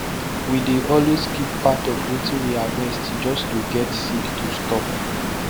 we dey always keep part of wetin we harvest just to get seed to store